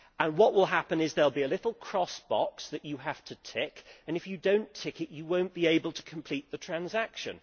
What will happen is that there will be a little box that you have to tick, and if you do not tick it, you will not be able to complete the transaction.